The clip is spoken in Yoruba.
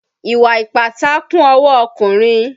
Ìwà ìpátá kún ọwọ́ ọkùnrin.